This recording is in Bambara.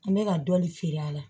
An bɛ ka dɔɔnin feere a la